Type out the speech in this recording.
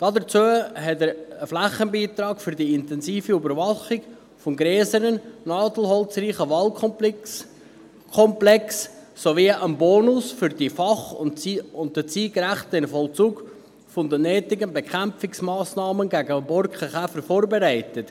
Dazu hat er einen Flächenbeitrag für die intensive Überwachung des grösseren, nadelholzreichen Waldeskomplexes und einen Bonus für den fach- und zeitgerechten Vollzug der nötigen Bekämpfungsmassnahmen gegen den Borkenkäfer vorbereitet.